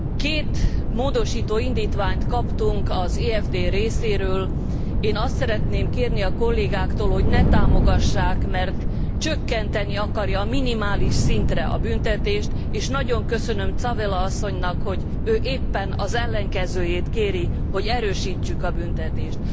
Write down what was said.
Két módosító indítványt kaptunk az EFD részéről, én azt szeretném kérni a kollégáktól, hogy ne támogassák, mert csökkenteni akarja a minimális szintre a büntetést, és nagyon köszönöm Tzavela asszonynak, hogy ő éppen az ellenkezőjét kéri, hogy erősítsük a büntetést.